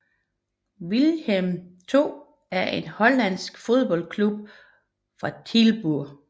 Willem II er en hollandsk fodboldklub fra Tilburg